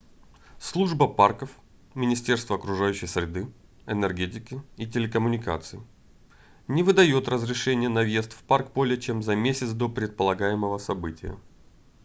служба парков министерство окружающей среды энергетики и телекоммуникаций не выдаёт разрешения на въезд в парк более чем за месяц до предполагаемого прибытия